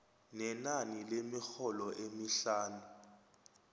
nenani lemirholo emihlanu